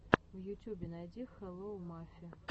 в ютюбе найди хелло мафи